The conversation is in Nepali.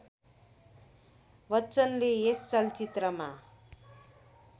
बच्चनले यस चलचित्रमा